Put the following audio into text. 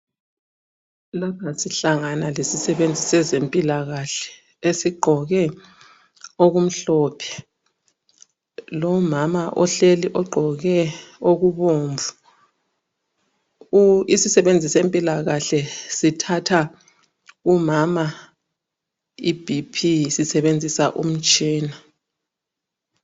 Lapha sihlangana lesisebenzi sezempilakahle esigqoke okumhlophe, lomama ohleli ogqoke okubomvu. Isisebenzi sezempilakahle sithatha umama ibp sisebenzisa umtshina.